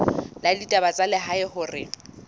la ditaba tsa lehae hore